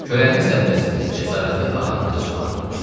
Kölənin sərbəstliyi, cəsarəti ağanı qıcıqlandırmışdı.